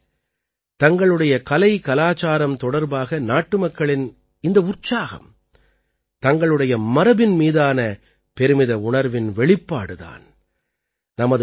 நண்பர்களே தங்களுடைய கலைகலாச்சாரம் தொடர்பாக நாட்டுமக்களின் இந்த உற்சாகம் தங்களுடைய மரபின் மீதான பெருமித உணர்வின் வெளிப்பாடு தான்